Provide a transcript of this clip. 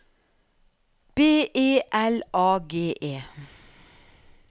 B E L A G E